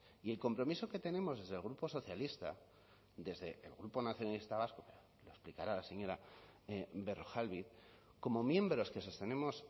y el compromiso que tenemos desde el grupo socialista desde el grupo nacionalista vasco lo explicará la señora berrojalbiz como miembros que sostenemos